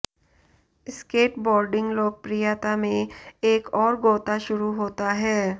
skateboarding लोकप्रियता में एक और गोता शुरू होता है